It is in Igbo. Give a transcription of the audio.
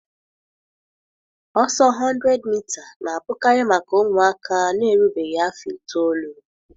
Ọsọ 100mita na-abụkarị maka ụmụaka na-erubeghị afọ itoolu.